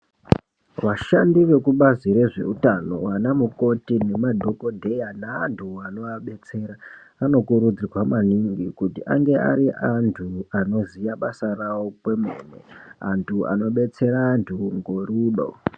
Vashandi vekubazi rezveutano vanamukoti nemadhokodheya neantu anoabetsera, anokurudzirwa maningi kuti ange ari antu anoziya basa ravo kwemene, antu anoabetsera antu ngorudo.